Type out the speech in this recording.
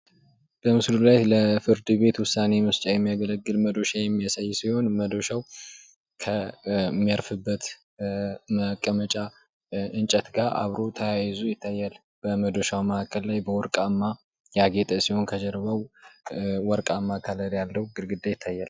በምስሉ ላይ ለፍርድ ቤት ዉሳኔ መስጫ የሚያገለግል መዶሻ የሚያሳይ ሲሆን መዶሻዉ ከሚያርፍበት መቀመጫ እንጨት ጋር አብሮ ተያይዞ ይታያል። በመዶሻ መካከል ላይ በወርባማ ያጤጠ ሲሆን በወርቃማ ያጌጠ ግድግዳ ይታያል።